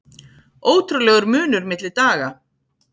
Ótrúlegur munur milli daga